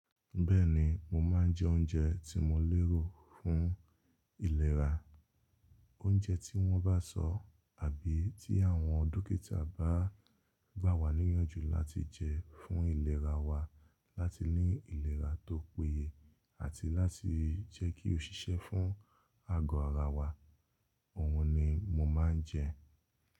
Bẹ́ẹ̀ni, mo máa ń jẹ oúnjẹ tí mo lérò fún ìlera. Oúnjẹ tí wọ́n bá sọ àbí tí àwọn dókítà bá gbà wá níyànjú láti jẹ fún ìlera wa láti ní ìlera tó péye àti láti jẹ́kí ó ṣiṣẹ́ fún ago ara wa, òhun ni mo máa ń jẹ.